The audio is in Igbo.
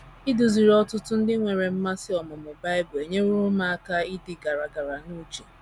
Iduziri ọtụtụ ndị nwere mmasị ọmụmụ Bible enyeworo m aka aka ịdị gara gara n’uche.